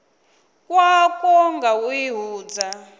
khakwo nga u i hudza